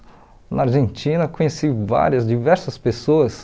Na Argentina, conheci várias, diversas pessoas.